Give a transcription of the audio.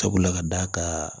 Sabula ka d'a kan